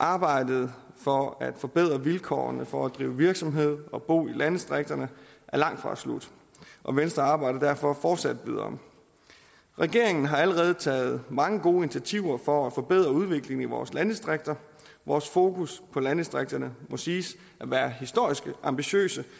arbejdet for at forbedre vilkårene for at drive virksomhed og bo i landdistrikterne er langtfra slut og venstre arbejder derfor fortsat videre regeringen har allerede taget mange gode initiativer for at forbedre udviklingen i vores landdistrikter vores fokus på landdistrikterne må siges at være historisk ambitiøst